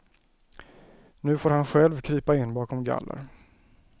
Nu får han själv krypa in bakom galler.